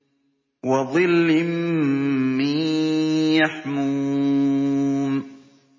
وَظِلٍّ مِّن يَحْمُومٍ